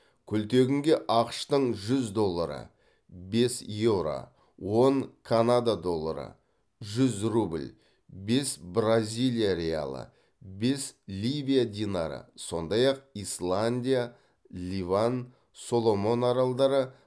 күлтегінге ақш тың жүз доллары бес еуро он канада доллары жүз рубль бес бразилия реалы бес ливия динары сондай ақ исландия ливан соломон аралдары